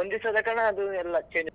ಒಂದಿವ್ಸದ ಕಾರಣ ಆ ಅದು ಎಲ್ಲ change .